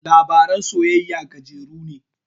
Labaran soyayya gajeru ne